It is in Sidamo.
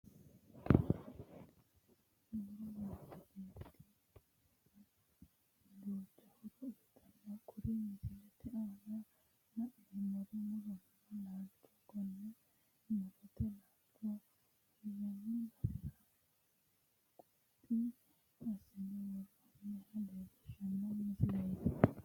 Mu'ro manchi beettira duucha horo uuytanno kuri misilete aana la'neemmori murotenna laalchoho konni mu'rote laalcho hirranni basera quphi assine woroonniha leellishshanno misileeti.